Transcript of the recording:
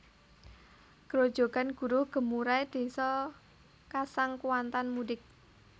Grojogan Guruh Gemurai Désa Kasang Kuantan Mudik